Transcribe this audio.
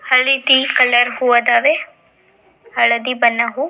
ಹಳ್ಳಿ ಟೀ ಕಲರ್ ಹೂವು ಅದವೆ ಹಳದಿ ಬಣ್ಣ ಹೂವು --